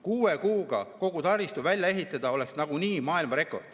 Kuue kuuga kogu taristu välja ehitada oleks nagunii maailmarekord.